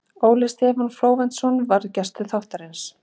Óli Stefán Flóventsson var gestur þáttarins.